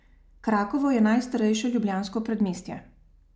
Krakovo je najstarejše ljubljansko predmestje.